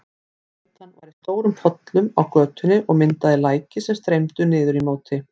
Bleytan var í stórum pollum á götunni og myndaði læki sem streymdu niður í móti.